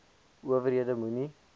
ower hede moenie